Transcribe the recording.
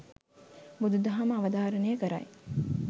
බුදු දහම අවධාරණය කරයි.